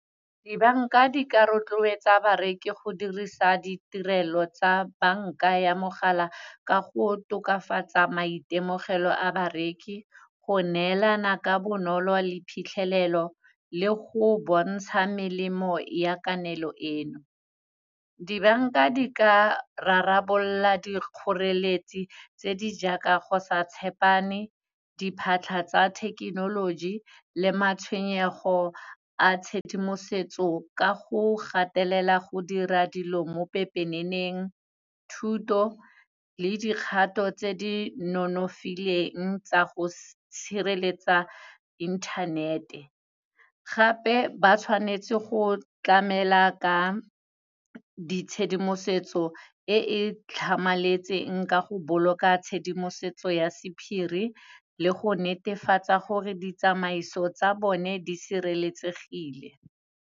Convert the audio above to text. Dibanka di ka rotloetsa bareki go dirisa ditirelo tsa banka ya mogala ka go tokafatsa maitemogelo a bareki, go neelana ka bonolo le phitlhelelo le go bontsha melemo ya kananelo eno. Dibanka di ka rarabolola di kgoreletsi tse di jaaka go sa tshepane, diphatlha tsa thekenoloji le matshwenyego a tshedimosetso ka go gatelela go dira dilo mo pepeneneng, thuto le dikgato tse di nonofileng tsa go sireletsa internet-e, gape ba tshwanetse go tlamela ka ditshedimosetso e e tlhamaletseng ka go boloka tshedimosetso ya sephiri le go netefatsa gore ditsamaiso tsa bone di sireletsegile.